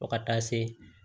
Fɔ ka taa se